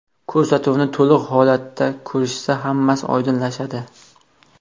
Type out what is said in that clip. Ko‘rsatuvni to‘liq holatda ko‘rishsa, hammasi oydinlashadi.